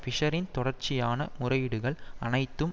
பிஷ்ஷரின் தொடர்ச்சியான முறையீடுகள் அனைத்தும்